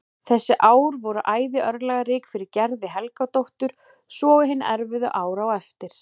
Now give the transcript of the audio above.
Þessi ár voru æði örlagarík fyrir Gerði Helgadóttur svo og hin erfiðu ár á eftir.